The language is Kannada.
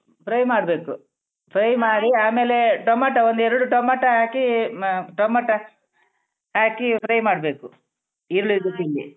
Fry ಮಾಡ್ಬೇಕು fry ಮಾಡಿ ಆಮೇಲೆ ಟೊಮಾಟೊ ಒಂದ್ ಎರ್ಡು ಟೊಮಾಟೊ ಹಾಕೀ ಮ ಟೊಮಾಟೊ fry ಹಾಕಿ ಮಾಡ್ಬೇಕು ಈರುಳ್ಳಿ ಜೊತೆಗೆ.